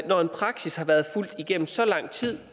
når en praksis har været fulgt igennem så lang tid